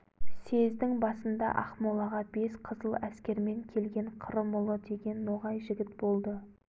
съездің басында ақмолаға бес қызыл әскермен келген қырымұлы деген ноғай жігіт болды